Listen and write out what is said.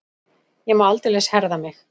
Ég má aldeilis herða mig.